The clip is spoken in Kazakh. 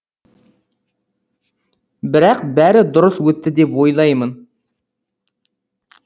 бірақ бәрі дұрыс өтті деп ойлаймын